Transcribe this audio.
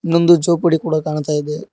ಇನ್ನೊಂದು ಜೋಪಡಿ ಕೂಡ ಕಾಣ್ತಾ ಇದೆ.